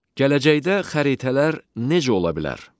Gələcəkdə xəritələr necə ola bilər?